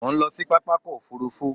Mò ń lọ sí pápákọ̀ òfurufú.